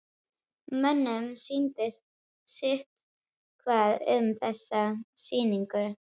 Mönnum sýndist sitthvað um þessa sýningu.